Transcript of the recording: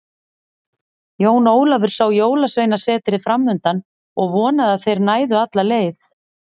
Jón Ólafur sá Jólasveinasetrið framundan og vonaði að þeir næðu alla leið.